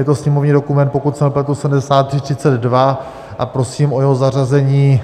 Je to sněmovní dokument, pokud se nepletu, 7332 a prosím o jeho zařazení